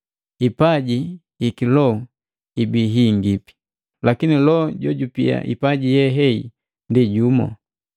Hipaji hi kiloho ibii hingi, lakini Loho jojupia hipaji ye hehi ndi jumu.